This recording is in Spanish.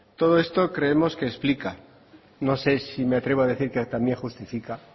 todo esto creemos que explica no sé si me atrevo a decir que también justifica